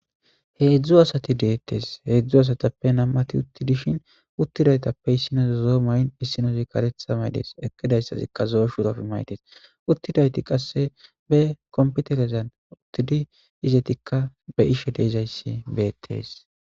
Heedzdzu asati deettes heedzdzu asatappe nammati uttidishin uttidaytappe issinozo zo may7in issinozi karetha maydees ekidayssazikka zo7eshurof maydees uttidayti qasse be kompitelezan uttidi izetikka be ishe deezayssi beettees